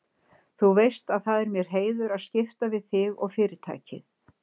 Þú veist að það er mér heiður að skipta við þig og Fyrirtækið.